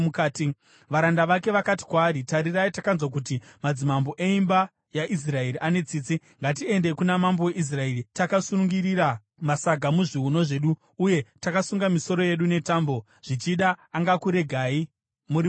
Varanda vake vakati kwaari, “Tarirai, takanzwa kuti madzimambo eimba yaIsraeri ane tsitsi. Ngatiendei kuna mambo weIsraeri takasungirira masaga muzviuno zvedu, uye takasunga misoro yedu netambo. Zvichida angakuregai muri mupenyu.”